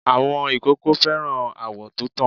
Àwọn ìkókó fẹ́ràn àwọ̀ to tàn.